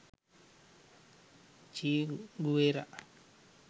che guwera